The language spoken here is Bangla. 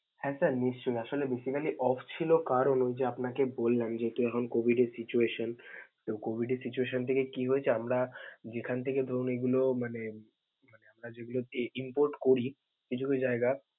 হ্যা sir নিশ্চয়ই, আসলে basically off ছিল কারণ যে আপনাকে বললাম যেহেতু এখন COVID এর situation. তো COVID এর situation থেকে কি হয়েছে আমরা যেখান থেকে ধরুন এগুলো মানে যেগুলো import করি, কিছু কিছু জায়গা.